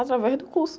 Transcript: Através do curso.